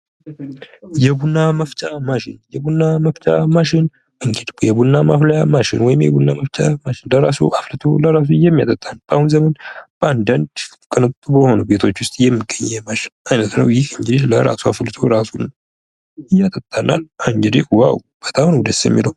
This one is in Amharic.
የቡና መፍጫ ማሽን። የቡና መፍጫ ማሽን እንግዲህ የቡና ማፊያ ማሽን የቡና መፍጫ ማሽን ለራሱ አፍልቶሉ በራሱ የሚያጠጣን በአሁኑ ዘመን በአንዳንድ ቅንጡ በሆኑ ቤቶች ውስጥ የሚገኙ የማሽን አይነት ነው። ይህ እንግዲህ በራሱ አፍልጦ ራሱ ያጠጣናል። እንግዲህ ዋው በጣም ነው ደስ የሚለው።